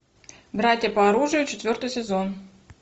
братья по оружию четвертый сезон